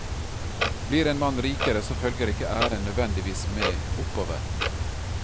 Blir en mann rikere, så følger ikke æren nødvendigvis med oppover.